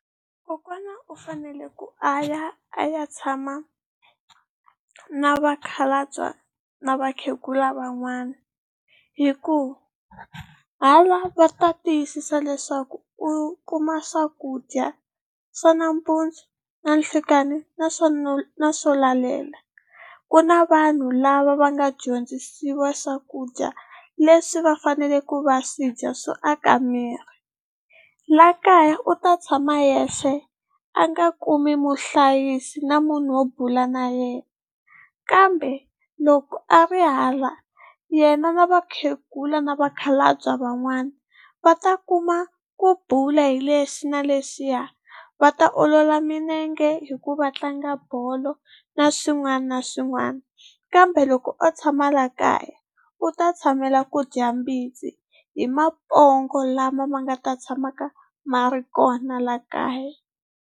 Kokwana u fanele ku a ya a ya tshama na vakhalabya na vakhegula van'wana hikuva hala va ta tiyisisa leswaku u kuma swakudya swa nampundzu nanhlikani na swo lalela. Ku na vanhu lava va nga dyondzisiwa swakudya leswi va fanele ku va swidya swo aka miri. La kaya u ta tshama yexe a nga kumi muhlayisi na munhu wo bula na yena kambe loko a ri hala yena na vakhegula na vakhalabya van'wana va ta kuma ku bula hi lexi na lexiya, va ta olola milenge hi ku va tlanga bolo na swin'wana na swin'wana, kambe loko o tshama la kaya u ta tshamela ku dya mbitsi hi mapongo lama ma nga ta tshamaka ma ri kona la kaya.